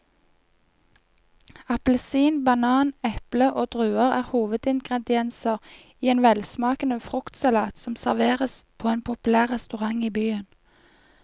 Appelsin, banan, eple og druer er hovedingredienser i en velsmakende fruktsalat som serveres på en populær restaurant i byen.